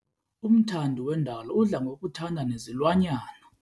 Umthandi wendalo udla ngokuthanda nezilwanyana.